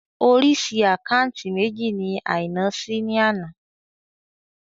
Orísìí àkáúntì méjì ni Àìná ṣí ní àná